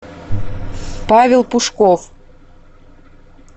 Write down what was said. павел пушков